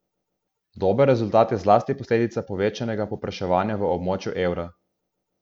Dober rezultat je zlasti posledica povečanega povpraševanja v območju evra.